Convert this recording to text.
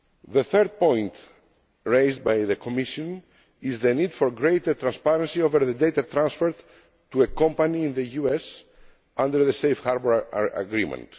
The third point raised by the Commission is the need for greater transparency over the data transferred to a company in the US under the Safe Harbour Agreement.